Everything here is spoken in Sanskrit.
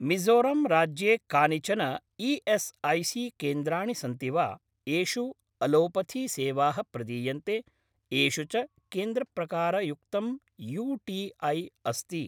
मिज़ोरम् राज्ये कानिचन ई.एस्.ऐ.सी.केन्द्राणि सन्ति वा येषु अलोपथीसेवाः प्रदीयन्ते, येषु च केन्द्रप्रकारयुक्तं यू.टी.ऐ. अस्ति?